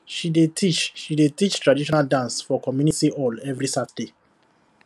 she dey teach she dey teach traditional dance for community hall every saturday